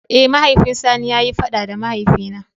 Eh, mahaifin sani ya yi fada da mahaifi na.